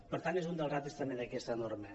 per tant és un dels reptes també d’aquesta norma